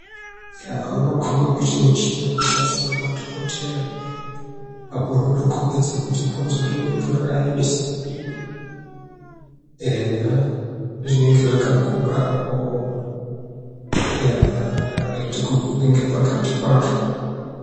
Unokumba kuita muchini Unoshandiswa nemadhokoteya Apo unotokumbidza bhonzo remuntu rakayemesa kudini eyaa zvinenge zvakaguka apo Eyaaaha rakaite kuguka nepakati kwazvo.